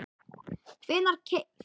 hvenær keypt?